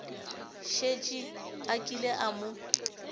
šetše a kile a mo